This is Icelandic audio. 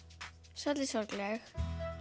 svolítið sorgleg